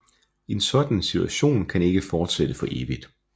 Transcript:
En sådan situation kan ikke fortsætte for evigt